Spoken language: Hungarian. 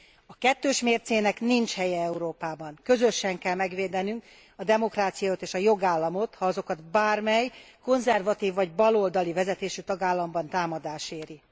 A kettős mércének nincs helye Európában, közösen kell megvédenünk a demokráciát és a jogállamot, ha azokat bármely, konzervatív vagy baloldali vezetésű tagállamban támadás éri.